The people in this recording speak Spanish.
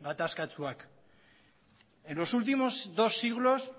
gatazkatsuak en los últimos dos siglos